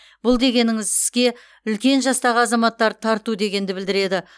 бұл дегеніңіз іске үлкен жастағы азаматтарды тарту дегенді білдіреді